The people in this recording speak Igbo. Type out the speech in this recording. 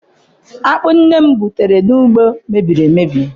Akpụ nne m bụtara n'ugbo mebiri emebi.